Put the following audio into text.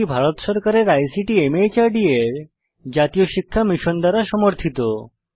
এটি ভারত সরকারের আইসিটি মাহর্দ এর জাতীয় শিক্ষা মিশন দ্বারা সমর্থিত